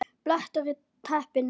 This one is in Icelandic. BLETTUR Í TEPPINU